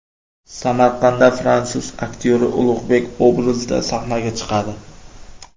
Samarqandda fransuz aktyori Ulug‘bek obrazida sahnaga chiqadi.